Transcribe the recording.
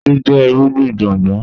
Iṣu jẹ irugbin gbongbo